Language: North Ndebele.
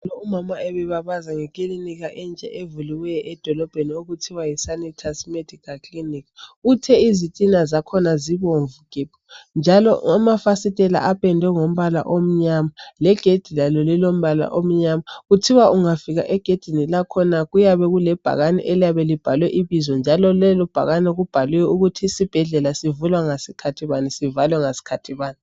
Umama ubebabaza ngekilinika entsha evuliweyo edolobheni okuthiwa yiSanitus medical clinic. Uthe izitina zakhona zibomvu gebhu njalo amafasitela apendwe ngombala omnyama legedi lalo lilombala omnyama. Kuthiwa ungafika egedini lakhona kuyabe kulebhakane eliyabe libhalwe ibizo njalo lelo bhakane libhaliwe ukuthi isibhedlela sivula ngesikhathi bani sivalwe ngesikhathi bani.